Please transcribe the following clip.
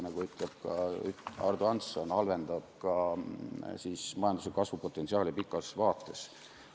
Nagu ütles Ardo Hansson, halvendab see ka majandusliku kasvu potentsiaali pikas vaates.